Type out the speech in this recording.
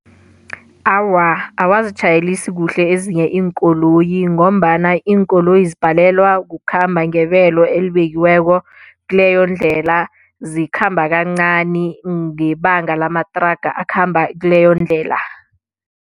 Awa, abazitjhayelisi kuhle ezinye iinkoloyi ngombana iinkoloyi zibhalelwa kukhamba ngebelo elibekiweko kileyo ndlela zikhamba kancani ngebanga lamathraga akhamba kileyo ndlela.